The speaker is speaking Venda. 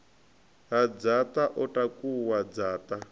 ha dzaṱa o takuwa dzaṱa